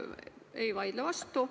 Ei vaidle vastu.